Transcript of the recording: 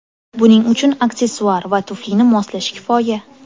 Buning uchun aksessuar va tuflini moslash kifoya.